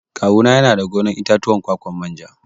Kawu na yana da gonar itatuwan ƙwaƙwan manja.